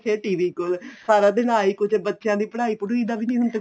ਫੇਰ TV ਕੋਲ ਸਾਰਾ ਦਿਨ ਆਹੀ ਕੁੱਝ ਬੱਚਿਆਂ ਦੀ ਪੜ੍ਹਾਈ ਪੜੁਈ ਦਾ ਵੀ ਨੀਂ ਹੁਣ ਤਾਂ